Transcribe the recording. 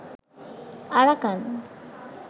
Arakan